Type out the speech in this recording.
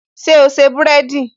Ṣé o se búrẹ́dì?